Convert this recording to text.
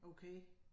Okay